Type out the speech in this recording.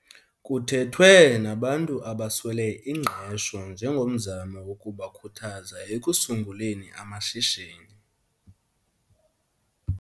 kuthethwe nabantu abaswele ingqesho njengomzamo wokubakhuthaza ekusunguleni amashishini.